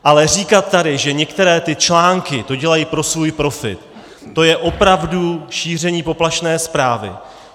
Ale říkat tady, že některé ty články to dělají pro svůj profit, to je opravdu šíření poplašné zprávy.